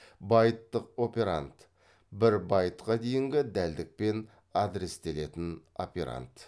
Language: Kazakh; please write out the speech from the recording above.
байттық операнд бір байтқа дейінгі дәлдікпен адрестелетін операнд